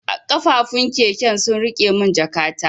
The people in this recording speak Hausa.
Kafufun keken sun rike mun jakata.